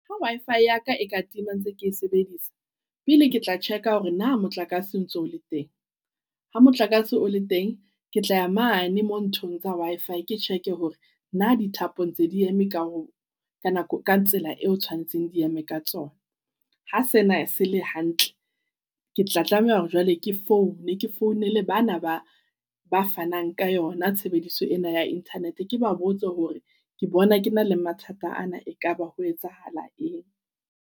Ha Wi-Fi ya ka e ka tima ntse ke sebedisa pele, ke tla check a hore na motlakase o ntso o le teng ha motlakase o le teng ke tla ya mane mo nthong tsa Wi-Fi ke check e hore na dithapong tse di eme ka ho ka nako ka tsela eo tshoanetseng di eme ka tsona. Ha sena se le hantle, ke tla tlameha hore jwale ke foune ke founele bana ba ba fanang ka yona. Tshebediso ena ea Internet ke ba botsa hore ke bona ke na le mathata ana. Ekaba ho etsahala eng?